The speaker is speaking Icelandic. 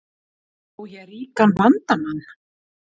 Á ég ríkan vandamann?